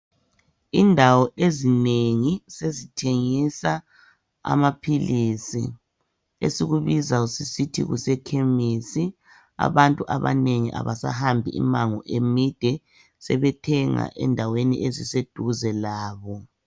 Indawo ezinengi sezithengisa amapills esikubiza sisthi kusephamarcy abantu abanengi abasahambi imango emide sethenga endaweni eziseduze labo